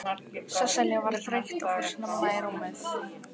Sesselja var þreytt og fór snemma í rúmið.